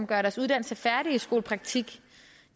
gør deres uddannelse færdig i skolepraktik